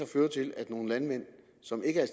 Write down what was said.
føre til at nogle landmænd som ikke er